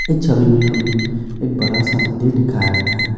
इस छवि में हमें एक बड़ा सा मंदिर दिखाया गया है।